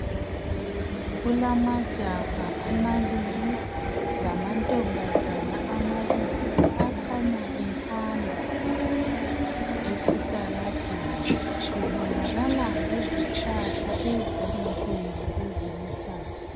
Kulamajaha amabili, lamantombazana amabili. Akhanya ehamba esitaladeni. Kubonakala lezihlahla ezinkulu, eziluhlaza.